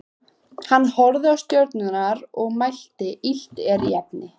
Hann horfði á stjörnurnar og mælti: Illt er í efni.